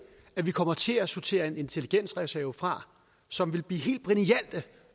at vi kommer til at sortere en intelligensreserve fra som ville blive helt brillante